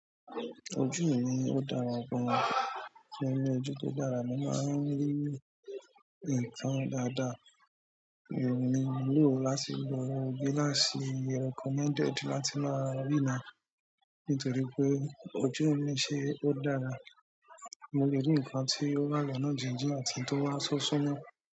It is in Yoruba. Ojú mi ní ó dára gan, ṣùgbọ́n ẹ ni ojú tó dára mo máa ń rí nǹkan dáadáa. È mi ni lò láti wọ gílàsì recommended láti máa rìnà nítorí wí pé ojú mi ṣe ó dára, mo le rí nǹkan tí ó wá lọ́nà jíjìn àti èyí tó wá so súmọ́.